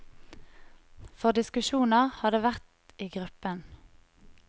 For diskusjoner har det vært i gruppen.